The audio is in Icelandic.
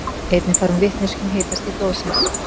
Einnig fær hún vitneskju um hitastig blóðsins.